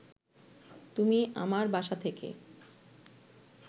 তুমি আমার বাসা থেকে